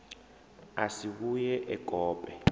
a si vhuye e kope